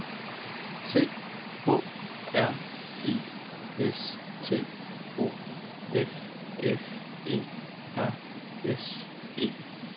C H R I S T O F F E R S E N